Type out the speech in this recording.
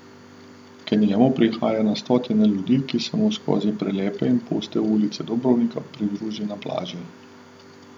K njemu prihaja na stotine ljudi, ki se mu skozi prelepe in puste ulice Dubrovnika pridruži na plaži.